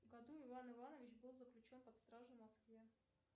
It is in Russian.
году иван иванович был заключен под стражу в москве